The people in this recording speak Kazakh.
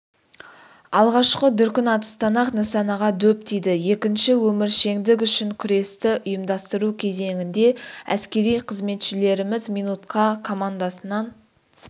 алғашқы дүркін атыстан-ақ нысанаға дөп тиді екінші өміршеңдік үшін күресті ұйымдастыру кезеңінде әскери қызметшілеріміз минутқа командасынан